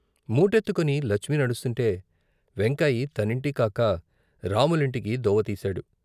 మూటెత్తుకుని లచ్మి నడుస్తుంటే వెంకాయి తనింటికి కాక రాములింటికి దోవతీశాడు.